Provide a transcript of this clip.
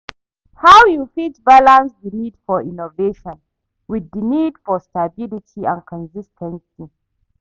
how you fit balance di need for innovation with di need for stability and consis ten cy?